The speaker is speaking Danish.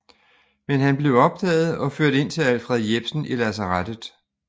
Men han blev opdaget og ført ind til Alfred Jepsen i lazarettet